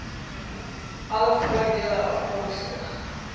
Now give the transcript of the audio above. alle voordele afkomstig